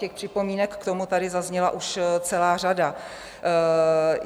Těch připomínek k tomu tady zazněla už celá řada.